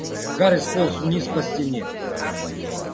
гарри сполз вниз по стене